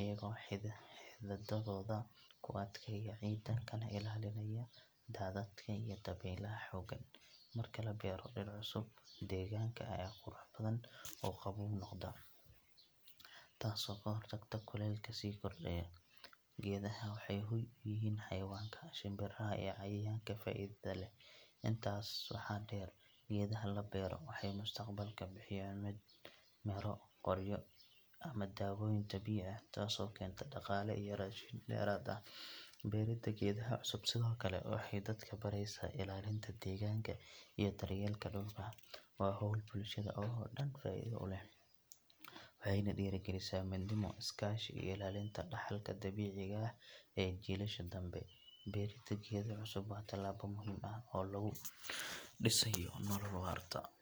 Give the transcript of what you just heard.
iyagoo xididdadooda ku adkeeya ciidda kana ilaalinaya daadadka iyo dabeylaha xooggan. Marka la beero dhir cusub, deegaanka ayaa qurux badan oo qaboow noqda, taasoo ka hortagta kuleylka sii kordhaya. Geedaha waxay hoy u yihiin xayawaanka, shimbiraha iyo cayayaanka faa’iidada leh. Intaas waxaa dheer, geedaha la beero waxay mustaqbalka bixiyaan miro, qoryo ama dawooyin dabiici ah, taasoo keenta dhaqaale iyo raashin dheeraad ah. Beerida geedaha cusub sidoo kale waxay dadka baraysaa ilaalinta deegaanka iyo daryeelka dhulka. Waa hawl bulshada oo dhan faa’iido u leh, waxayna dhiirrigelisaa midnimo, is-kaashi iyo ilaalinta dhaxalka dabiiciga ah ee jiilasha dambe. Beerida geedo cusub waa tallaabo muhiim ah oo lagu dhisayo nolol waarta.